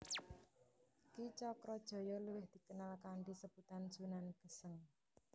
Ki Cakrajaya luwih dikenal kanthi sebutan Sunan Geseng